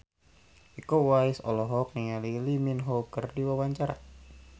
Iko Uwais olohok ningali Lee Min Ho keur diwawancara